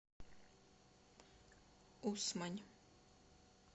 усмань